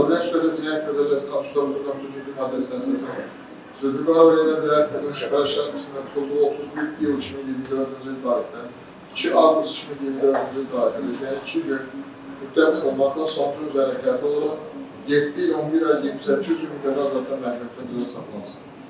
Azərbaycan Respublikası Cinayət Məcəlləsinin statusunun 60.1.2-ci maddəsinə əsasən, Zülfüqarova Leyla Vilayət qızının şübhəli şəxs qismində tutulduğu 30 iyul 2024-cü il tarixdən 2 avqust 2024-cü il tarixinə qədər olan iki gün müddəti cəzasından çıxılmaqla, son cəzanın üzərinə hesab edilərək 7 il 11 ay 28 gün müddətinə azadlıqdan məhrumetmə cəzası cəza saxlasın.